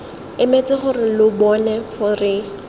emetse gore lo bone gore